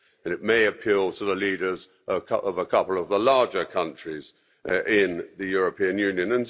it may appeal to the leaders of a couple of the larger countries in the European Union.